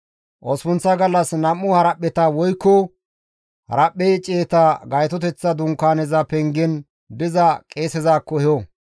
Osppunththa gallas nam7u haraphpheta woykko haraphphe ciyeta Gaytoteththa Dunkaaneza pengen diza qeesezakko eho.